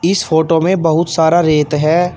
इस फोटो में बहुत सारा रेत है।